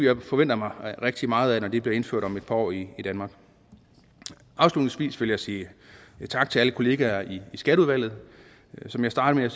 jeg forventer mig rigtig meget af når det bliver indført om et par år i danmark afslutningsvis vil jeg sige tak til alle kollegaer i skatteudvalget som jeg startede